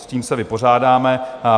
S tím se vypořádáme.